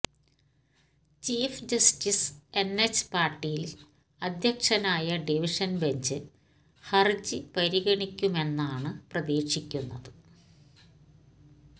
chief justice N H Patil അദ്ധ്യക്ഷനായ division bench ഹര്ജി പരിഗണിക്കുമെന്നാണ് പ്രതീക്ഷിക്കുന്നത്